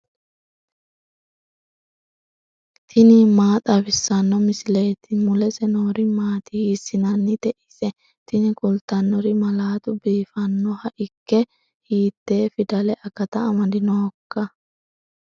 tini maa xawissanno misileeti ? mulese noori maati ? hiissinannite ise ? tini kultannori malaatu biifannoha ikke hiite fidale akata amadinoiika